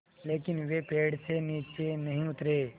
लेकिन वे पेड़ से नीचे नहीं उतरे